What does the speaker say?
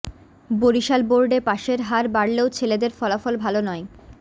বরিশাল বোর্ডে পাশের হার বাড়লেও ছেলেদের ফলাফল ভাল নয়